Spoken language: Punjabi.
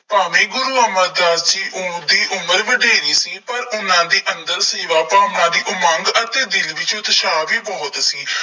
ਭਾਵੇਂ ਗੁਰੂ ਅਮਰਦਾਸ ਜੀ ਉਸਦੀ ਉਮਰ ਵਡੇਰੀ ਸੀ ਪਰ ਉਹਨਾ ਦੇ ਅੰਦਰ ਸੇਵਾ ਭਾਵਨਾ ਦੀ ਮੰਗ ਅਤੇ ਦਿਲ ਵਿੱਚ ਉਤਸ਼ਾਹ ਵੀ ਬਹੁਤ ਸੀ।